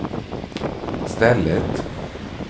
stället